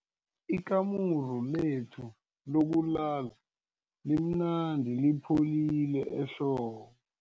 Ikamuru lethu lokulala limnandi lipholile ehlobo.